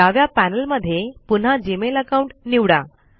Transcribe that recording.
डाव्या पॅनल मध्ये पुन्हा जीमेल अकाउंट निवडा